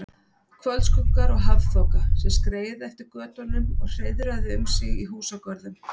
Kvöldskuggar og hafþoka, sem skreið eftir götunum og hreiðraði um sig í húsagörðum.